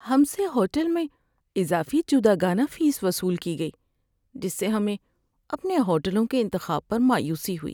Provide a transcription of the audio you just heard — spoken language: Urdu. ہم سے ہوٹل میں اضافی جداگانہ فیس وصول کی گئی، جس سے ہمیں اپنے ہوٹلوں کے انتخاب پر مایوسی ہوئی۔